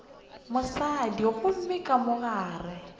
mosadi gomme ka mo gare